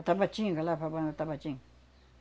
E Tabatinga, lá para a banda de Tabatinga.